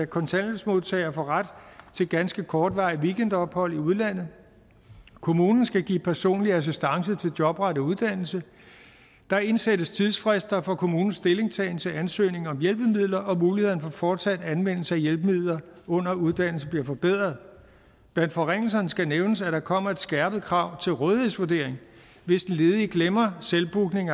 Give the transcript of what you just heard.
kontanthjælpsmodtagere får ret til ganske kortvarige weekendophold i udlandet kommunen skal give personlig assistance til jobrettet uddannelse der indsættes tidsfrister for kommunens stillingtagen til ansøgning om hjælpemidler og mulighederne for fortsat anvendelse af hjælpemidler under uddannelse bliver forbedret blandt forringelserne skal nævnes at der kommer et skærpet krav til rådighedsvurdering hvis den ledige glemmer selvbooking